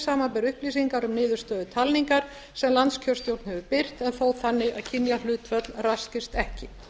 samanber upplýsingar um niðurstöður talningar sem landskjörstjórn hefur birt en þó þannig að kynjahlutföll raskist ekki